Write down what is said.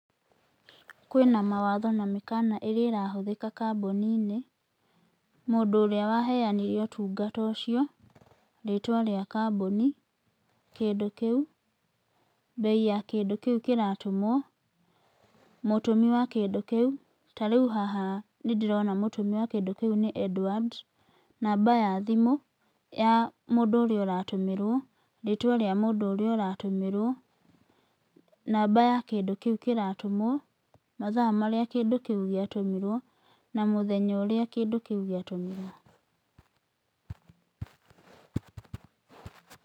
Kwĩna mawatho na mĩkana ĩrĩa ĩrahũthĩka kambuni-inĩ, mũndũ ũrĩa waheanire ũtungata ũcio, rĩtwa rĩa kambuni, kĩndũ kĩu, mbei ya kĩndũ kĩu kĩratũmwo, mũtũmi wa kĩndũ kĩu, ta rĩu haha nĩ ndĩrona mũtũmi wa kĩndũ kĩu nĩ Edward, namba ya thimũ ya mũndũ ũrĩa ũratũmĩrwo, rĩtwa rĩa mũndũ ũrĩa ũratũmĩrwo, namba ya kĩndũ kĩu kĩratũmwo, mathaa marĩa kĩndũ kĩu gĩatũmirwo na mũthenya ũrĩa kĩndũ kĩu gĩatũmirwo.